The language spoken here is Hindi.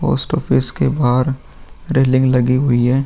पोस्ट ऑफिस के बाहर रेलिंग लगी हुई है ।